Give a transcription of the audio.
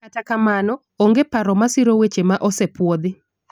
kata kamano, onge paro masiro wechego ma osepuodhi